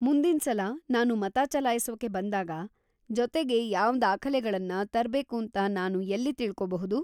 ಮುಂದಿನ್ಸಲ ನಾನು ಮತ ಚಲಾಯ್ಸೋಕೆ ಬಂದಾಗ ಜೊತೆಗೆ ಯಾವ್ ದಾಖಲೆಗಳನ್ನ ತರ್ಬೇಕೂಂತ ನಾನು ಎಲ್ಲಿ ತಿಳ್ಕೋಬಹುದು?